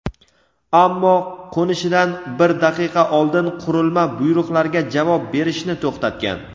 ammo qo‘nishidan bir daqiqa oldin qurilma buyruqlarga javob berishni to‘xtatgan.